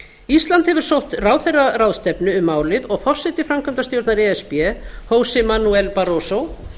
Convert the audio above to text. ísland hefur sótt ráðherraráðstefnu um málið og forseti framkvæmdastjórnar e s b hafi manuel barroso